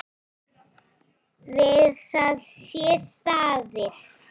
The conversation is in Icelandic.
Við það sé staðið.